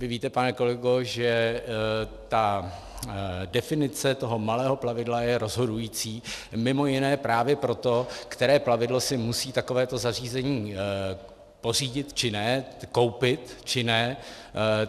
Vy víte, pane kolego, že ta definice toho malého plavidla je rozhodující mimo jiné právě proto, které plavidlo si musí takovéto zařízení pořídit či ne, koupit či ne.